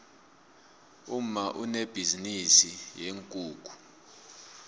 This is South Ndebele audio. umma unebhizinisi yeenkukhu